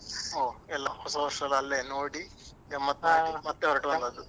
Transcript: ಓಹ್ ಎಲ್ಲ ಹೊಸ ವರ್ಷ ಎಲ್ಲ ಅಲ್ಲೆ ನೋಡಿ ಗಮ್ಮತ್ ಮಾಡಿ ಮತ್ತೆ ಹೊರಟು ಬಂದದ್ದು.